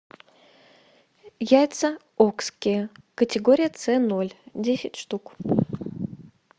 яйца окские категория цэ ноль десять штук